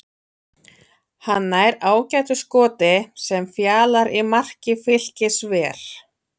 Hann nær ágætu skoti sem Fjalar í marki Fylkis ver.